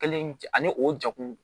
Kelen ani o jakulu